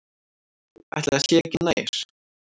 Ætli það sé ekki nær.